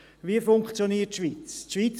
Wie funktioniert die Schweiz?